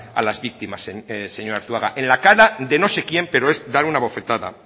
a las víctimas señor arzuaga en la cara de no sé quién pero es dar una bofetada